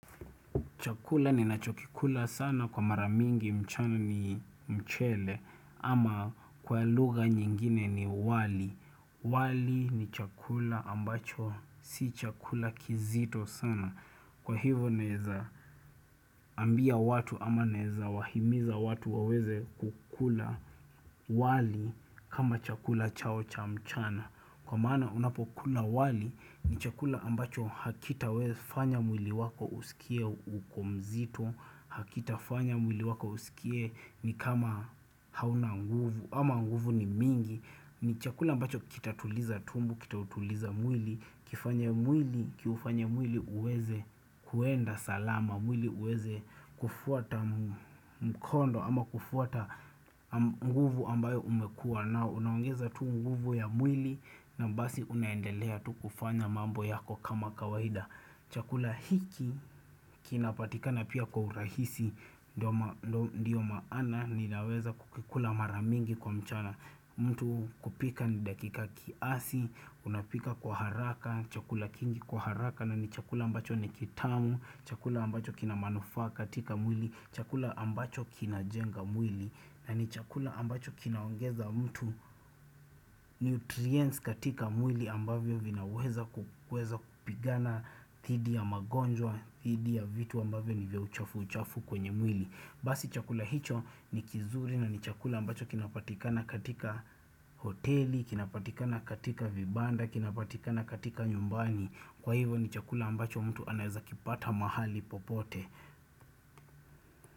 Chakula ni nachokikula sana kwa maramingi mchana ni mchele ama kwa lugha nyingine ni wali wali ni chakula ambacho si chakula kizito sana Kwa hivyo neza ambia watu ama neza wahimiza watu waweze kukula wali kama chakula chao cha mchana kwa maana unapo kula wali nichakua ambacho hakitaweza kufanya mwili wako kua mzito hakita fanya mwili wako usikie nikama hauna nguvu ama nuvu ni nyingi nichakula ambacho kitatuliza mwili ki ufanye mwili uweze kwenda salama ama kufuata mkondo nguvu ambayo umekua nayo unaongeza nguvu za mwili na unaweza kuendalea kufanya kazi yako ya kawaida. Chakula hiki kina patikana tena kwa urahisi ndio mguvu ambayo umekua na unaongeza tu nguvu ya mwili na basi unaendelea tu kufanya mambo yako kama kawahida chakula hiki kinapatikana pia kwa urahisi nanichakula ambacho kina ongeza mtu neutriensi katika mwili ambavyo vina weza kupigana thidi ya magonjwa thidi ya vitu vya uchafu uchafu kwenye mwili basi chakula hicho nikuzuri nakinaweza kupatikana kwenye hoteli kina patika na kwenye vibanda na kupatikana nyumbani mtu anaweza kipata mahali popote.